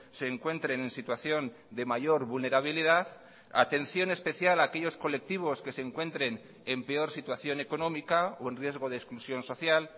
se encuentren en situación de mayor vulnerabilidad atención especial aquellos colectivos que se encuentren en peor situación económica o en riesgo de exclusión social